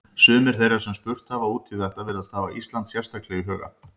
Sumir þeirra sem spurt hafa út í þetta virðast hafa Ísland sérstaklega í huga.